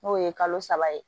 N'o ye kalo saba ye